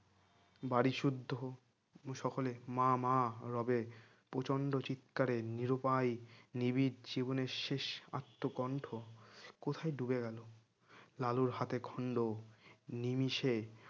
বাড়ি শুদ্ধ উ সকলে মা মা রবে প্রচন্ড চিৎকারে নিরুপায় নিবিড় জীবনে শেষ আত্মকণ্ঠ কোথায় ডুবে গেলো লালুরহাটে খন্ড নিমিষে